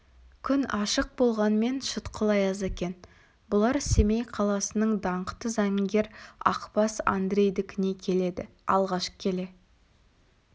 күн ашық болғанмен шытқыл аяз екен бұлар семей қаласының даңқты заңгер ақбас андрейдікіне келеді алғаш келе